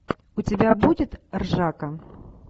у тебя будет ржака